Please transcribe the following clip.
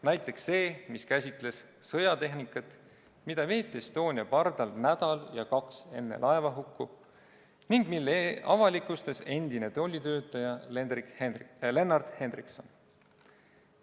Näiteks see, mis käsitles sõjatehnika vedamist Estonia pardal nädal ja kaks enne laevahukku ning mille avalikustas endine tollitöötaja Lennart Henriksson.